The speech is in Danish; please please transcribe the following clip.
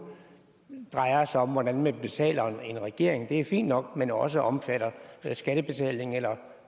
drejer sig om hvordan man betaler en regering det er fint nok men også omfatter skattebetaling eller